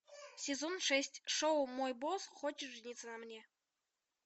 сезон шесть шоу мой босс хочет жениться на мне